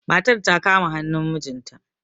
matar ta kama hannun mijinta